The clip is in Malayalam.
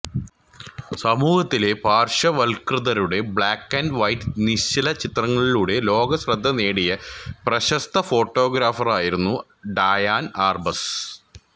സമൂഹത്തിലെ പാർശ്വവൽകൃതരുടെ ബ്ലാക്ക് ആൻഡ് വൈറ്റ് നിശ്ചല ചിത്രങ്ങളിലൂടെ ലോക ശ്രദ്ധ നേടിയ പ്രശസ്ത ഫോട്ടൊഗ്രാഫറായിരുന്നു ഡയാൻ ആർബസ്